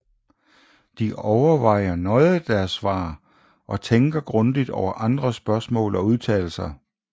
De overvejer nøje deres svar og tænker grundigt over andres spørgsmål og udtalelser